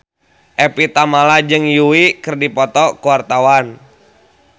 Evie Tamala jeung Yui keur dipoto ku wartawan